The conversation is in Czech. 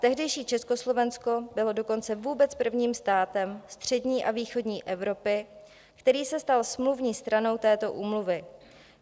Tehdejší Československo bylo dokonce vůbec prvním státem střední a východní Evropy, který se stal smluvní stranou této úmluvy.